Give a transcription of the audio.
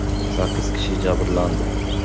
Sakkiz kishi jabrlandi.